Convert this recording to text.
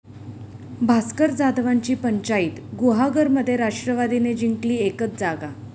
भास्कर जाधवांची 'पंचाईत', गुहागरमध्ये राष्ट्रवादीने जिंकली एकच जागा